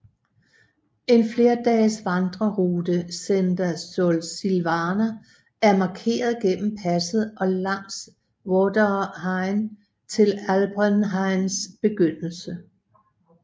En flerdages vandrerute Senda Sursilvana er markeret gennem passet og langs Vorderrhein til Alpenrheins begyndelse